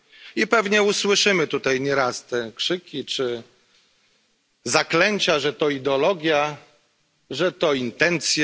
I pewnie usłyszymy tutaj nieraz te krzyki czy zaklęcia, że to ideologia, że to intencje.